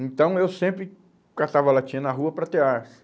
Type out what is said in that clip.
Então, eu sempre catava latinha na rua para ter arço.